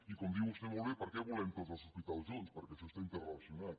i com diu vostè molt bé per què volem tots els hospitals junts perquè això està interrelacionat